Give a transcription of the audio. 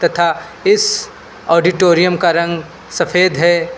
तथा इस ऑडिटोरियम का रंग सफेद है।